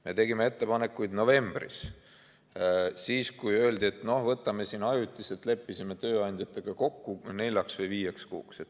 Me tegime ettepanekuid novembris, siis kui öeldi, et no võtame siin ajutiselt, leppisime tööandjatega kokku neljaks või viieks kuuks.